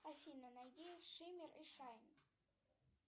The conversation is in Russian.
афина найди шиммер и шайн